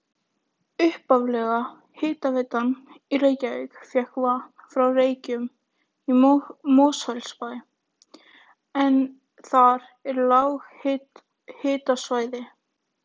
Upphaflega hitaveitan í Reykjavík fékk vatn frá Reykjum í Mosfellsbæ en þar er lághitasvæði.